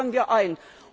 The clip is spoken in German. Das fordern wir